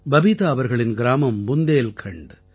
பபீதா அவர்களின் கிராமம் புந்தேல்கண்ட்